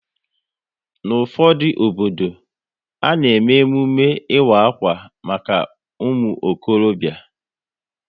N'ufodu obodo, a na eme emume ịwa akwa maka umuokorobia